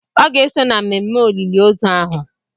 Ọ ga-eso na mmemme olili ozu ahụ.